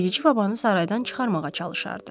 Bilici babanı saraydan çıxarmağa çalışardı.